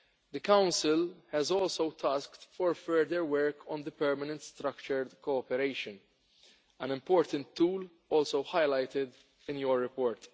The Council has also been tasked with further work on the permanent structured cooperation, an important tool also highlighted in your report.